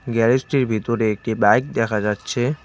গ্যারেজটির ভিতর একটি বাইক দেখা যাচ্ছে।